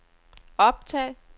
optag